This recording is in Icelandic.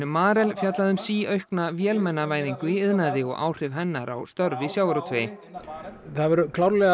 Marel fjallaði um síaukna vélmennavæðingu í iðnaði og áhrif hennar á störf í sjávarútvegi